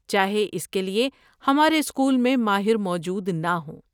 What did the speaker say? چاہے اس کے لیے ہمارے اسکول میں ماہر موجود نہ ہوں۔